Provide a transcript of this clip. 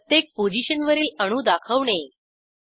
प्रत्येक पोझिशनवरील अणू दाखवणे